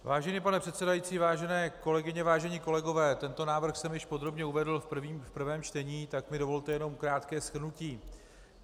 Vážený pane předsedající, vážené kolegyně, vážení kolegové, tento návrh jsem již podrobně uvedl v prvním čtení, tak mi dovolte jenom krátké shrnutí.